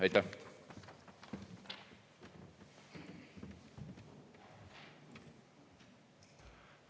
Aitäh!